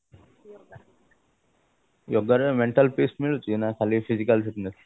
yoga ରେ mental peace ମିଳୁଛି ନା ଖାଲି physical fitness